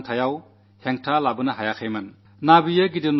ദാരിദ്ര്യവും അദ്ദേഹത്തിന്റെ ദൃഢനിശ്ചയത്തിന് തടസ്സമായില്ല